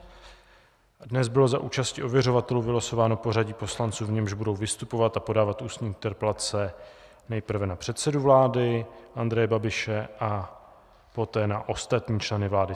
Dnes bylo za účasti ověřovatelů vylosováno pořadí poslanců, v němž budou vystupovat a podávat ústní interpelace nejprve na předsedu vlády Andreje Babiše a poté na ostatní členy vlády.